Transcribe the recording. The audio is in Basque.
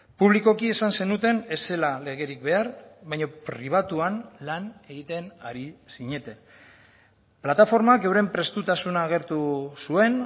publikoki esan zenuten ez zela legerik behar baina pribatuan lan egiten ari zineten plataformak euren prestutasuna agertu zuen